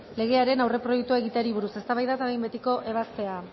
legearen aurreproiektua egiteari buruz eztabaida eta behin betiko ebazpena